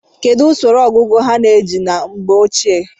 kedu usoro ngụkọ a na-eji na mgbe ochie?